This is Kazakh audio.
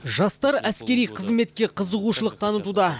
жастар әскери қызметке қызығушылық танытуда